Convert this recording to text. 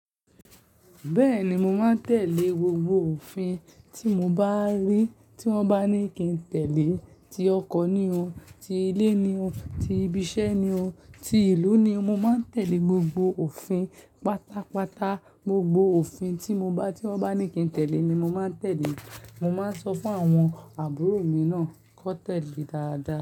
Bẹ́ẹ̀ni, mo máa ń tẹ̀lé gbogbo òfin tí mo bá rí tí wọ́n bá ní kí n tẹ̀lé. Tí ọkọ ni o, ti ilé ni o, ti ibi iṣẹ́ ni o, ti ìlú ni o, mo máa ń tẹ̀lé gbogbo òfin. Pátápátá, gbogbo òfin tí mo bá, tí wọ́n bá ní kí n tẹ̀lé ni mo máa ń tẹ̀lé. Mo máa ń sọ fún àwọn àbúrò mi náà kí wọ́n tẹ̀lé dáadáa.